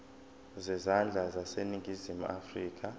zezandla zaseningizimu afrika